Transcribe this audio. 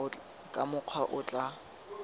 ka mokgwa o o tla